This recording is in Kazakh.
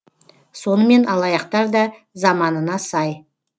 сонымен алаяқтар да заманына сай